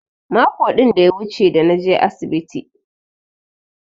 Mako din da ya wuche da naje asibiti.